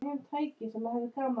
En er þetta rétt?